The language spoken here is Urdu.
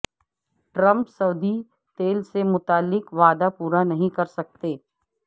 ٹرمپ سعودی تیل سے متعلق وعدہ پورا نہیں کرسکتے